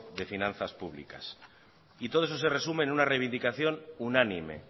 de finanzas públicas y todo eso se resume en una reivindicación unánime